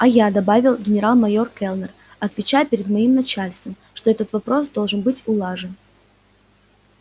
а я добавил генерал-майор кэллнер отвечаю перед моим начальством что этот вопрос должен быть улажен